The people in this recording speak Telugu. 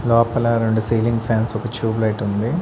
లోపల రెండు సీలింగ్ ఫాన్స్ ఒక ట్యూబ్ లైట్ ఉంది.